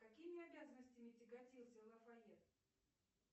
какими обязанностями тяготился лафайет